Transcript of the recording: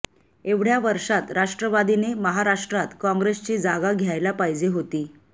एवढ्या वर्षांत राष्ट्रवादीने महाराष्ट्रात काँग्रेसची जागा घ्यायला पाहिजे होती